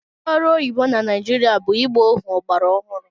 Ndị ọrụ oyibo na Naịjirịa bụ ịgba ohu ọgbara ọhụrụ.